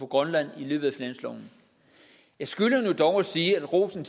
grønland i løbet af finansloven jeg skylder nu dog at sige at rosen